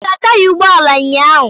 O hichara taya ụgbọ ala ụnyaahụ?